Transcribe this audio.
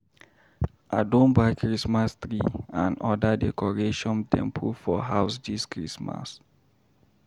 I don buy Christmas tree and oda decoration dem put for house dis Christmas.